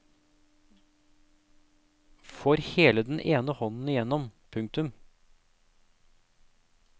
Får hele den ene hånden igjennom. punktum